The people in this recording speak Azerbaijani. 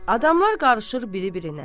Adamlar qarışır bir-birinə.